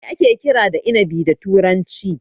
Me ake kira da inabi da turanci?